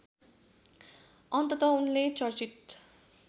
अन्तत उनले चर्चित